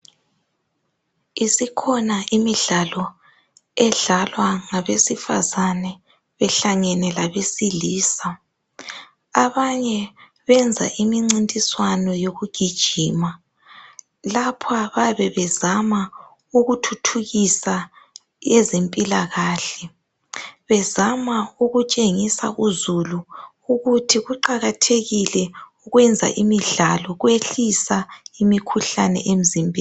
Isikhona imidlalo edlalwa ngabesifazana behlangene labesilisa abanye benza imimncintiswano yokugijima lapha bayabe bezama ukuthuthukisa ezempilakahle bezama ukuetshengisa uzulu ukuthi kuqakathekile ukwenza imidlalo kuyehlisa imikhuhlane emzimbeni.